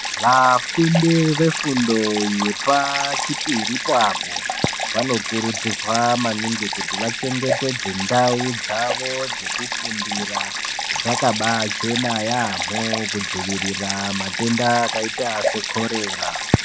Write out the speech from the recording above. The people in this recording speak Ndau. Vafundi vefundo yepa chipiri poapo vanokurudzirwa maningi kuti vachengetedze ndau dzavo dzekufundira dzakaba achena yeyamho kudzivirira matenda akaita sekhorera.